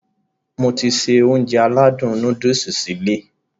Mo ti se Ounjẹ aládùn nóódùsì sí ilé